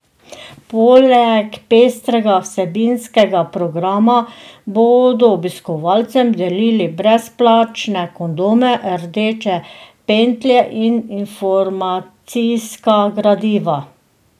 Poleg pestrega vsebinskega programa, bodo obiskovalcem delili brezplačne kondome, rdeče pentlje in informacijska gradiva.